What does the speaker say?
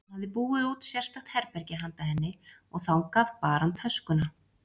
Hann hafði búið út sérstakt herbergi handa henni og þangað bar hann töskuna.